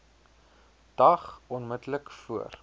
dag onmiddellik voor